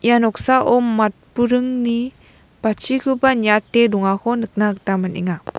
ia noksao matburingni bachikoba niate dongako nikna gita man·enga.